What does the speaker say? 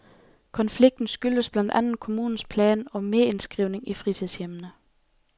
Konflikten skyldes blandt andet kommunens plan om merindskrivning i fritidshjemmene.